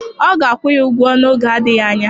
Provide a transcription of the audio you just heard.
Ọ ga-akwụ ya ụgwọ n'oge adịghị anya.